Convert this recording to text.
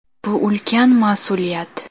Bu ulkan mas’uliyat.